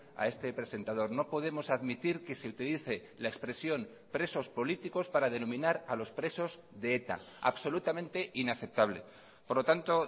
a este presentador no podemos admitir que se utilice la expresión presos políticos para denominar a los presos de eta absolutamente inaceptable por lo tanto